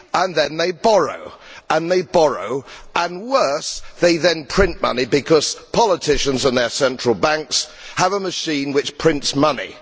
Then they borrow, and they borrow, and worse they then print money, because politicians and their central banks have a machine which prints money.